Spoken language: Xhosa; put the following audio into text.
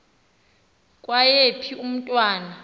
kwaye phi umntwana